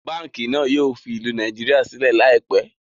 Báànkì náà yìí ó fi ìlú Nàìjíríà sílẹ̀ laipẹ́